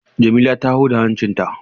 Jamila ta huda hancinta.